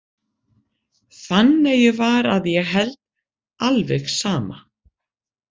Fanneyju var að ég held alveg sama.